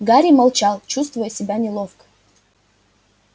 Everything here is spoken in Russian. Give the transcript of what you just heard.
гарри молчал чувствуя себя неловко